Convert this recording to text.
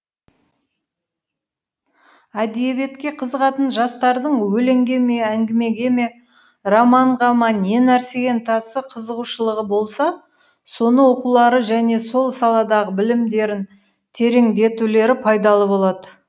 әдебиетке қызығатын жастардың өлеңге ме әңгімеге ме романға ма не нәрсеге ынтасы қызығушылығы болса соны оқулары және сол саладағы білімдерін тереңдетулері пайдалы болады